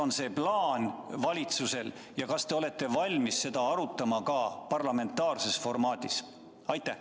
Mis plaan valitsusel on ja kas te olete valmis seda arutama ka parlamentaarses formaadis?